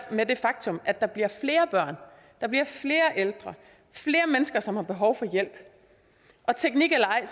med det faktum at der bliver flere børn der bliver flere ældre flere mennesker som har behov for hjælp og teknik eller ej